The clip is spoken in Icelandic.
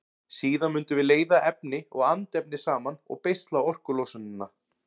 Síðan mundum við leiða efni og andefni saman og beisla orkulosunina.